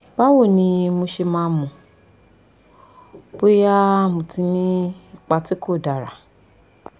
báwo ni mo ṣe máa mọ̀ bóyá mo ti ní ipa tí kò dára?